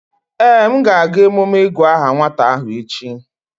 Ee, m ga-aga emume ịgu aha nwata ahụ echi